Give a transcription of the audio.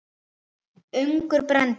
Ungur Belgi.